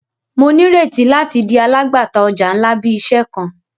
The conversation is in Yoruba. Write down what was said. Mo nireti lati di alagbata ọja nla bi iṣẹ kan.